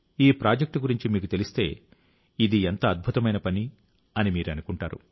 ఈ ప్రాజెక్ట్ గురించి మీకు తెలిస్తే ఇది ఎంత అద్భుతమైన పని అని మీరు అనుకుంటారు